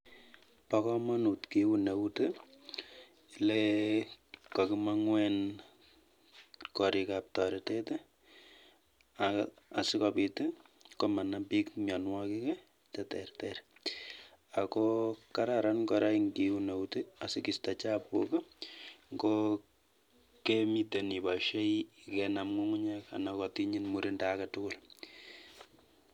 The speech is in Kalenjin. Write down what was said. Bokomonut kiun eut i lekakimong'u en korik ab toretet i asikobit komanam biik mionwokik cheterter, ako kararan korak ing'iun eut i asikisto chabuk i ng'o kemiten iboishei kokenam ng'ung'unyek anan kokotinyin murindo aketukul.